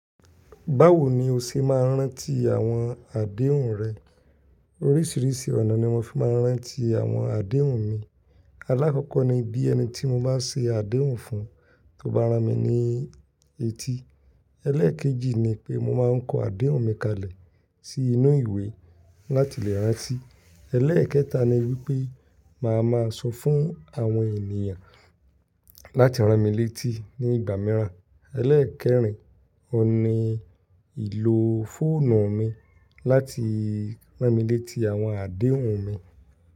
Báwo ni o ṣe máa ń rántí àwọn àdéhùn rẹ? Oríṣiríṣi ọ̀nà ni mo fi máa ń rántí àwọn àdéhùn mi. Alákọ́kọ́ ni bí ẹni tí mo bá ṣe àdéhùn fún tó bá ra mi ní etí. Eléèkejì ni pé mo máa ń kọ àdéhùn mi kalẹ̀ sí inú ìwé láti lè rántí. Elẹ́ẹ̀kẹta ni wípé màá máa sọ fún àwọn ènìyàn láti ran mi létí nígbà mìíràn. Elẹ́ẹ̀kẹrin ó ni ìlò fóònù mi láti ran mi létí àwọn àdéhùn mi.